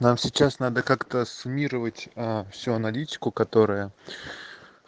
нам сейчас надо как-то ссуммировать аа всю аналитику которая